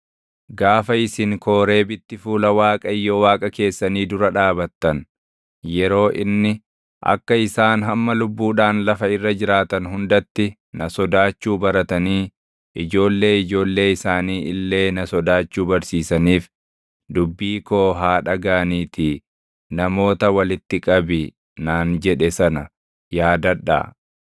Gaafa isin Kooreebitti fuula Waaqayyo Waaqa keessanii dura dhaabattan, yeroo inni, “Akka isaan hamma lubbuudhaan lafa irra jiraatan hundatti na sodaachuu baratanii ijoollee ijoollee isaanii illee na sodaachuu barsiisaniif dubbii koo haa dhagaʼaniitii namoota walitti qabi” naan jedhe sana yaadadhaa.